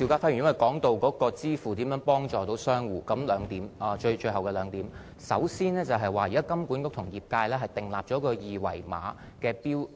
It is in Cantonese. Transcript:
我正談到電子支付如何協助商戶，這有兩方面，首先，金管局現時與業界為了制訂二維碼的標